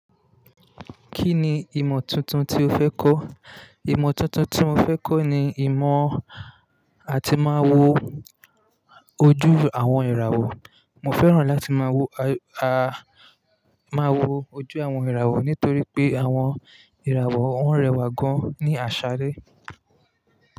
Kí ni ìmọ̀ tuntun tí o fẹ́ kọ́? Ìmọ̀ tuntun tí mo fẹ́ kọ́ ni ìmọ̀ àti máa wo ojú àwọn ìràwọ̀. Mo fẹ́ràn láti máa wo, à, máa wo ojú àwọn ìràwọ̀ nítorí pé àwọn ìràwọ̀ ó ń rẹwà gan an ní àṣálẹ́